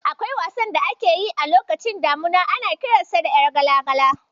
Akwai wasan da ake yi a lokacin damuna, ana kiransa da "Ƴar gala-gala".